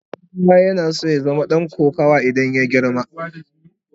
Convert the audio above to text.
Dan'uwana yana so ya zama dan kokawa idan ya girma.